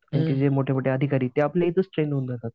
जे मोठे मोठे अधिकारी ते आपले मोठे ते आपल्या इथेच ट्रेन होऊन जातात.